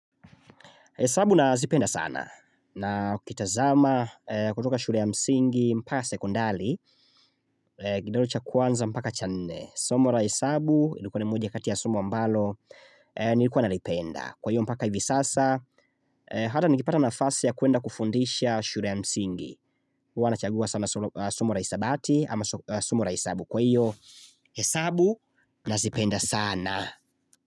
Hesabu nazipenda sana na ukitazama kutoka shule ya msingi mpaka sekondari kidato cha kwanza mpaka cha nne Somo la hesabu ilikuwa ni moja kati ya somo ambalo nilikuwa nalipenda Kwa hiyo mpaka hivi sasa hata nikipata nafasi ya kuenda kufundisha shule ya msingi huwa nachagua sana somo la hisabati ama somo la hesabu Kwa hiyo hesabu nazipenda saana.